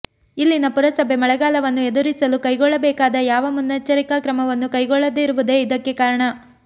ಇಲ್ಲಿನ ಪುರಸಭೆ ಮಳೆಗಾಲವನ್ನು ಎದುರಿಸಲು ಕೈಗೊಳ್ಳಬೇಕಾದ ಯಾವ ಮುನ್ನೆಚ್ಚರಿಕಾ ಕ್ರಮವನ್ನೂ ಕೈಗೊಳ್ಳದಿರುವುದೇ ಇದಕ್ಕೆ ಕಾರಣ